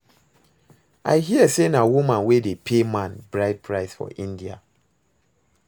I hear say na woman wey dey pay man bride price for India